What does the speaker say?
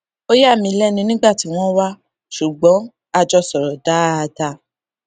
ó yà mí lénu nígbà tí wón wá ṣùgbón a jọ sòrò dáadáa